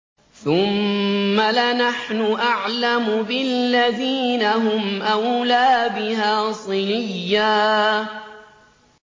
ثُمَّ لَنَحْنُ أَعْلَمُ بِالَّذِينَ هُمْ أَوْلَىٰ بِهَا صِلِيًّا